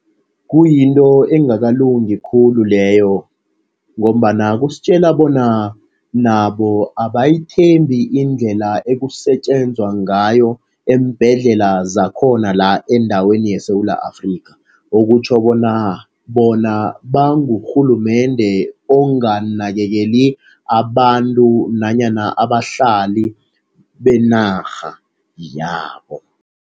Kuyinto engakalungi khulu leyo ngombana kusitjela bona nabo abayithembi indlela ekusetjenzwa ngayo eembhedlela zakhona la endaweni yeSewula Afrika. Okutjho bona, bona bangurhulumende onganakekela abantu nanyana abahlali benarha yabo.